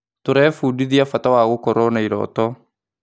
Tũrebundithia bata wa gũkorwo na irooto.